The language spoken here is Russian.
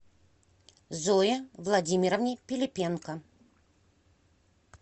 зое владимировне пилипенко